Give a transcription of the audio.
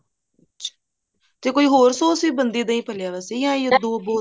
ਤੇ ਕੋਈ ਹੋਏ sos ਵੀ ਬਣਦੀ ਹੈ ਦਹੀਂ ਭੱਲਿਆਂ ਵਾਸਤੇ ਜਾਂ ਦੋ ਬਹੁਤ ਨੇ